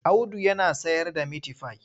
Audu yana sayarda mitifai.